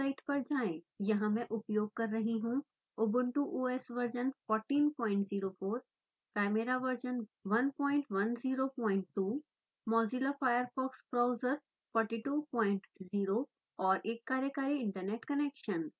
यहाँ मैं उपयोग कर रही हूँ ubuntu os वर्जन 1404chimeraवर्जन 1102 mozilla firefox ब्राउज़र 420 और एक कार्यकारी इन्टरनेट कनेक्शन